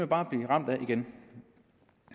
bare blive ramt af igen